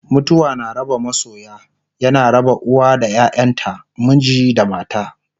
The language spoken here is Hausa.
mutuwa na raba masoya, yana raba uwa da ƴaƴanta, miji da mata